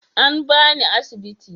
An ba ni a asibiti.